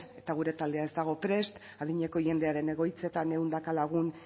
gure taldea ez dago prest adineko jendearen egoitzetan ehunka lagun